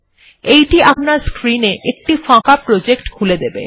এইটি আপনার স্ক্রিন এ একটি ফাঁকা প্রজেক্ট খুলে দেবে